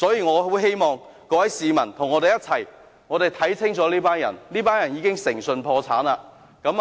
我很希望各位市民與我們一起認清這群人，這群人已誠信破產。